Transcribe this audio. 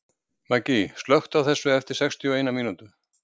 Maggý, slökktu á þessu eftir sextíu og eina mínútur.